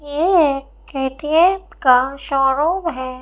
ये शोरूम है।